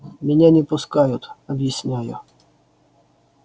меня не пускают объясняю